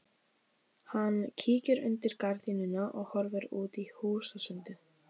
Hann kíkir undir gardínuna og horfir út í húsasundið.